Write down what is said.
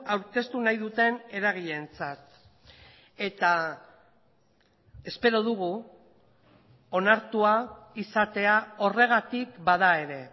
aurkeztu nahi duten eragileentzat eta espero dugu onartua izatea horregatik bada ere